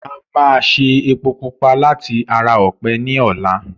A máa ṣe epo pupa láti ara ọ̀pẹ ní ọlá.